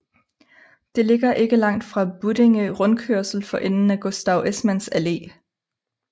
Det ligger ikke langt fra Buddinge Rundkørsel for enden af Gustav Esmanns Allé